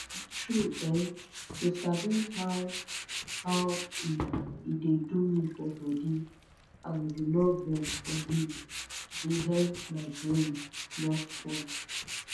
tru[um]to sabi how how hmmn e de do me for bodi and u nor vex for me de helep my brain nor spoil